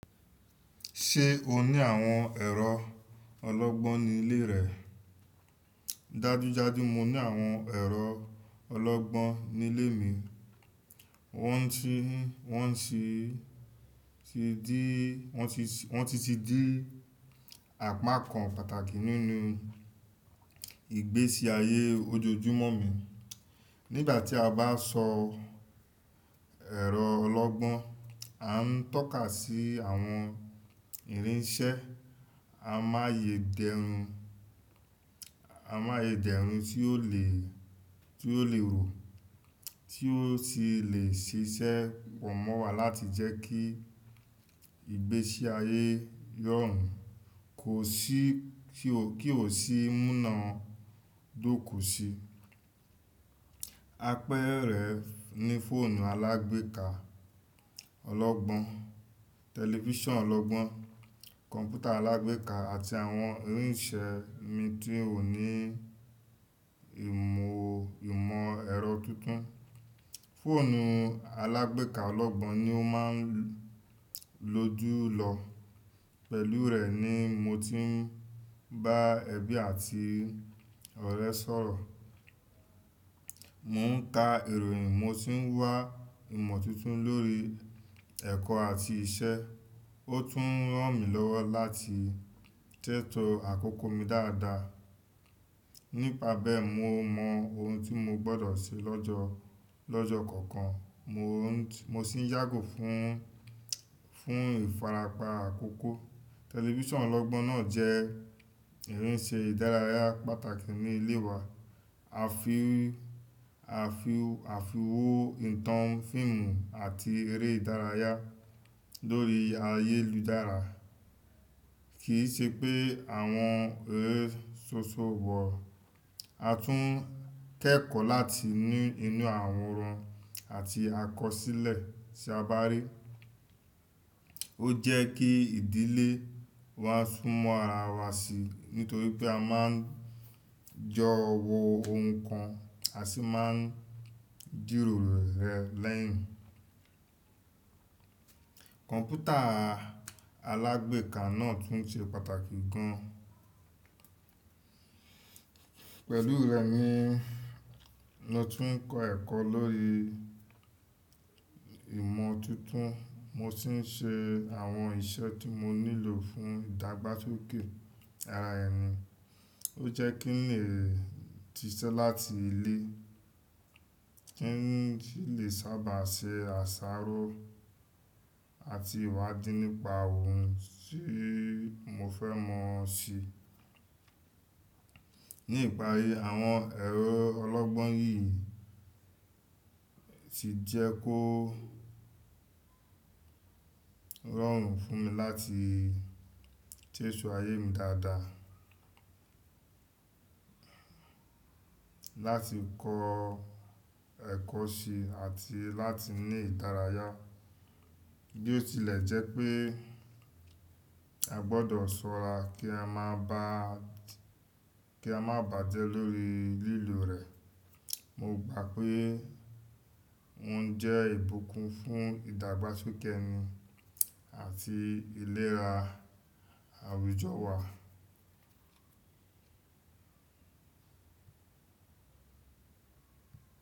Ṣé o ní àwọn ẹ̀rọ ọlọ́gbọ́n ní ilé rẹ? Dájúdájú mo ní àwọn ẹ̀rọ ọlọ́gbọ́n ní ilé mi. Wọ́n ti, wọ́n sì ti di, wọ́n ti, wọ́n ti ti di àpákan pàtàkì nínú ìgbésí ayé ojojúmọ́ mi. Nígbà tí a bá sọ ẹ̀rọ ọlọ́gbọ́n, a ń tọ́ka sí àwọn irinṣẹ́ amáyé dẹrùn, amáyé dẹrùn tí ó lè, tí ó lè rò, tí ó sì lè ṣiṣẹ́ pọ̀ mọ́ wa láti jẹ́ kí ìgbésí ayé rọrùn, kó sì kí o, kí ó sì múnàádóko si. Apẹ́erẹ́ ní fóònù alágbèéká ọlọ́gbọ́n, tẹlifíṣàn ọlọ́gbọ́n, kọ̀ǹpútà alágbèéká àti àwọn irinṣẹ́ mi tí ò ní ìmò, ìmọ̀ ẹ̀rọ tuntun. Fóònù alágbèéká ọlọ́gbọ́n ni ó máa ń lojúlọ. Pẹ̀lú rẹ̀ ni mo ti ń bá ẹbí àti ọ̀rẹ́ sọ̀rọ̀. Mò ń ka ìròyìn, mo sì ń wá ìmọ̀ tuntun lórí ẹ̀kọ́ àti iṣẹ́. Ó tún ràn mí lọ́wọ́ láti sẹ́tọ àkókò mi dáadáa. Nípa bẹ́ẹ̀ mo mọ ohun tí mo gbọ́dọ̀ ṣe lọ́jọ́, lọ́jọ́ kọ̀ọ̀kan. Mo sì n yágò fún, fún ìfarapa àkókò. Tẹlifíṣàn ọlọ́gbọ́n náà jẹ́ irinṣẹ́ ìdárayá pàtàkì ní ilé wa. A fi, a fi, a finwó ìtàn, fíìmù àti eré ìdárayá lórí ayélujára. Kìí ṣe pé àwọn eré ṣoṣo wò. A tún kẹ́kọ̀ọ́ láti no inú àwọran àti àkọsílẹ̀ tí a bá rí. Ó jẹ́ kí ìdílé wa sún mọ́ ara wa si nítorí pé a máa ń jọ wò ohun kan a sì máa ń jìròro rẹ̀ lẹ́yìn. Kọ̀ǹpútà alágbèéká náà tún ṣe pàtàkì gan. Pẹ̀lú rẹ̀ ni mo ti ń kọ́ ẹ̀kọ́ lórí ìmọ̀ tuntun, mo sì ń ṣe àwọn iṣẹ́ tí mo nílò fún ìdàgbásókè ara ẹ ni. Ó jẹ́ kí n lè ṣiṣẹ́ láti ilé, kí n si lè sábà ṣe àsáró àti ìwádìí nípa ohun tí mo fẹ́ mọ̀ sí. Ní ìparí, àwọn ẹ̀rọ ọlọ́gbọ́n yìí ti jẹ́ kó rọrùn fún mi láti sẹ́to ayé mi dáadáa, láti kọ́ ẹ̀kọ́ ṣi àti láti ní ìdárayá. Bí ó tilẹ̀ jẹ́ pé a gbọ́dọ̀ ṣọ́ra kí a má bàá, kí a má bàjẹ́ lórí lílò rẹ̀, mo gbà pé wọ́n jẹ́ ìbùkún fún ìdàgbásókè ẹni àti ìlera àwùjọ wa.